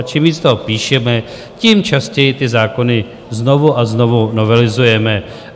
A čím víc toho píšeme, tím častěji ty zákony znovu a znovu novelizujeme.